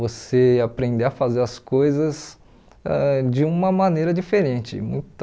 Você aprender a fazer as coisas ãh de uma maneira diferente, muita...